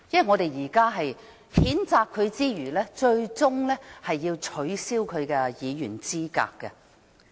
我們除了譴責他外，最終是要取消他的議員資格。